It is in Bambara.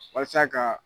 Walasa ka